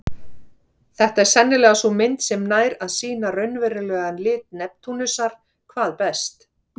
Þetta er sennilega sú mynd sem nær að sýna raunverulegan lit Neptúnusar hvað best.